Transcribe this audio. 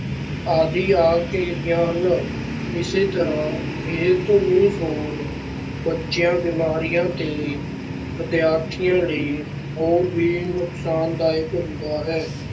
ਆਦਿ ਆ ਘੇਰਦੀਆਂ ਹਨ, ਇਸੇ ਤਰ੍ਹਾਂ ਇਹ ਧੁਨੀ ਸ਼ੋਰ ਬੱਚਿਆਂ, ਬਿਮਾਰੀਆਂ ਤੇ ਵਿਦਿਆਰਥੀਆਂ ਲਈ ਹੋਰ ਵੀ ਨੁਕਸਾਨਦਾਇਕ ਹੁੰਦਾ ਹੈ।